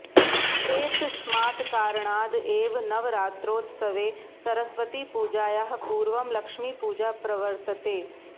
एतस्मात् कारणाद् एव नवरात्रोत्सवे सरस्वतीपूजायाः पूर्वं लक्ष्मीपूजा प्रवर्तते